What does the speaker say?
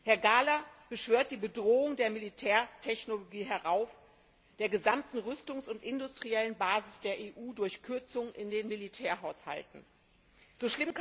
Herr Gahler beschwört die Bedrohung der Militärtechnologie, ja der gesamten Rüstungs und industriellen Basis der EU durch Kürzung in den Militärhaushalten herauf.